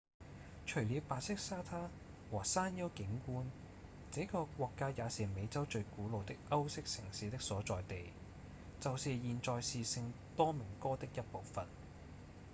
除了白色沙灘和山岳景觀這個國家也是美洲最古老的歐式城市的所在地就是現在是聖多明哥的一部份